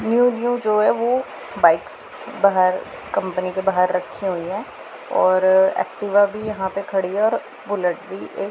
new new जो है वो बाइक्स बाहर कंपनी के बाहर रखी हुई हैं और एक्टिवा भी यहां पे खड़ी हैं और बुलेट भी एक--